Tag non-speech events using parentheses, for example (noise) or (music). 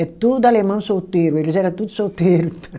É tudo alemão solteiro, eles era tudo solteiro. (laughs)